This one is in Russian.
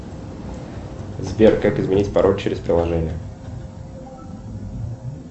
сбер как изменить пароль через приложение